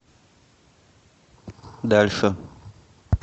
дальше